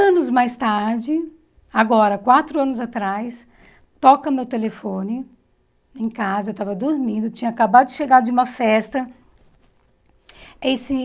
Anos mais tarde, agora, quatro anos atrás, toca meu telefone em casa, eu estava dormindo, tinha acabado de chegar de uma festa.